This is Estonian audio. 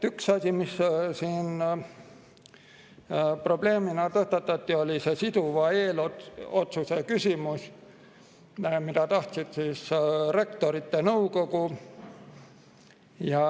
Üks asi, mis siin probleemina tõstatati, oli siduva eelotsuse küsimus, mida tahtis Rektorite Nõukogu.